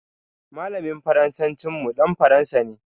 Malamin Faransancin mu dan Faransa ne.